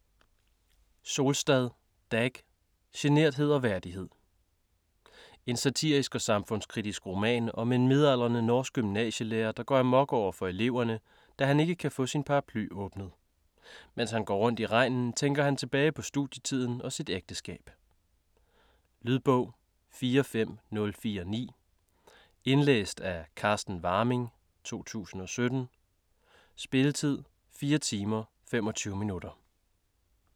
Solstad, Dag: Generthed og værdighed En satirisk og samfundskritisk roman om en midaldrende norsk gymnasielærer der går amok overfor eleverne, da han ikke kan få sin paraply åbnet. Mens han går rundt i regnen tænker han tilbage på studietiden og sit ægteskab. Lydbog 45049 Indlæst af Carsten Warming, 2017. Spilletid: 4 timer, 25 minutter.